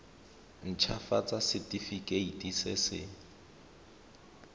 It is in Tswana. nt hafatsa setefikeiti se se